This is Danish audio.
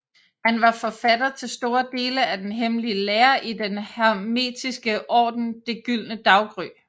Han var forfatter til store dele af den hemmelige lære i Den Hermetiske Orden Det Gyldne Daggry